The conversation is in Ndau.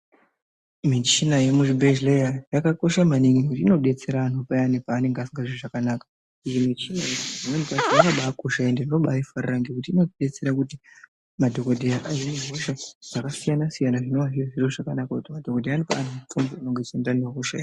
Michina yemuzvibhedhlera yakakosha maningi inodetsera anhu payani paanenge asikazwi zvakanaka ende michina iyi pamweni pacho tinobaarifarira nekuti inotibatsira kuti madhogodheya ahine hosha dzakasiyana-siyana zvonava zviri zviro zvakanaka kuti madhogodheya anokwanisa kukupa mutombo inoenderana nehosha yako.